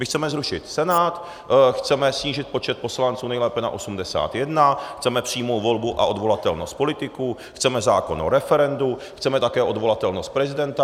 My chceme zrušit Senát, chceme snížit počet poslanců nejlépe na 81, chceme přímou volbu a odvolatelnost politiků, chceme zákon o referendu, chceme také odvolatelnost prezidenta.